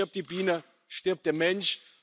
Denn stirbt die Biene, stirbt der Mensch.